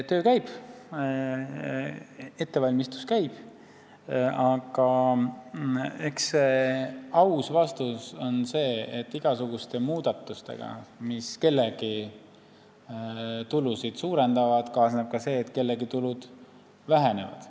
Töö käib, ettevalmistus käib, aga eks aus vastus on see, et igasuguste muudatustega, mis kellegi tulusid suurendavad, kaasneb ka see, et kellegi tulud vähenevad.